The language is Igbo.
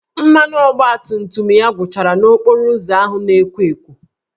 Mmanụ ọgbatumtum ya gwụchara n'okporo ụzọ ahụ na-ekwo ekwo